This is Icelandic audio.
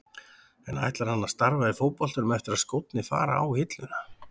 En ætlar hann að starfa í fótboltanum eftir að skórnir fara á hilluna?